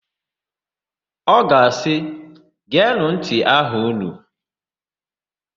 Ọ ga-asị, "geenụ ntị aha ụnụ"!